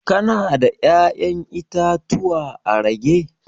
Ka na da ya'yan itatuwa a rage?